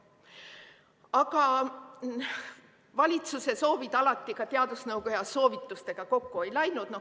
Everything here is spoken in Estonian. Aga valitsuse soovid alati ka teadusnõukoja soovitustega kokku ei läinud.